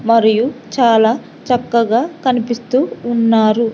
మరియు చాలా చక్కగా కనిపిస్తూ ఉన్నారు.